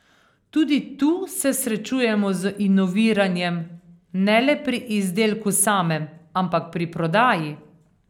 Tudi tu se srečujemo z inoviranjem, ne le pri izdelku samem, ampak pri prodaji.